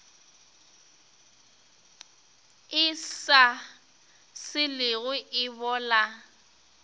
e sa selego e bola